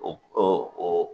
O o o